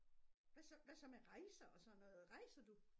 Hvad så hvad så med rejser og sådan noget rejser du?